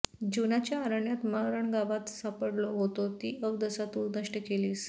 जीवनाच्या अरण्यात मरणगावात सापडलो होतो ती अवदसा तू नष्ट केलीस